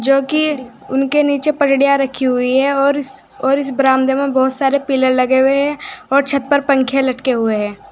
जो कि उनके नीचे रखी हुई हैं और इस और इस बरामदे में बहोत सारे पिलर लगे हुए है और छत पर पंखे लटके हुए है।